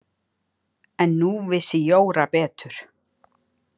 En nú vissi Jóra betur.